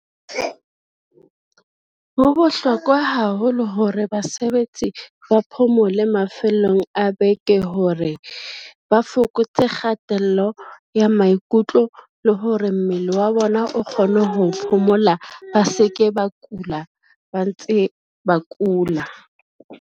Ho bohlokwa haholo hore basebetsi ba phomole mafellong a beke hore, ba fokotse kgatello ya maikutlo le hore mmele wa bona o kgone ho phomola, ba se ke ba kula ba ntse ba kula.